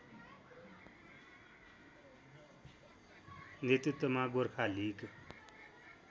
नेतृत्वमा गोरखा लिग